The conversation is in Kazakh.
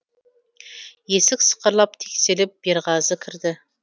есік сықырлап теңселіп берғазы кірді